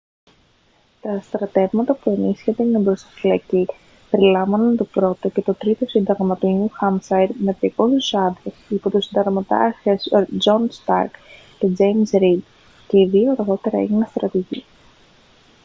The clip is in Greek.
τα στρατεύματα που ενίσχυαν την εμπροσθοφυλακή περιελάμβαναν το 1ο και 3ο σύνταγμα του νιου χάμσαϊρ με 200 άντρες υπό τους συνταγματάρχες τζον σταρκ και τζέιμς ρηντ και οι δύο αργότερα έγιναν στρατηγοί